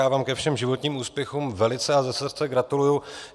Já vám ke všem životním úspěchům velice a ze srdce gratuluji.